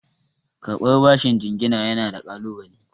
Karɓar bashin jingina yana da ƙalunale.